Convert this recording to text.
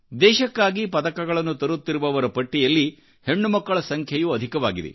ದೇಶಕ್ಕಾಗಿಪದಕಗಳನ್ನು ತರುತ್ತಿರುವವರ ಪಟ್ಟಿಯಲ್ಲಿ ಹೆಣ್ಣುಮಕ್ಕಳ ಸಂಖ್ಯೆಯೂ ಅಧಿಕವಾಗಿದೆ